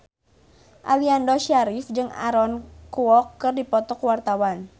Aliando Syarif jeung Aaron Kwok keur dipoto ku wartawan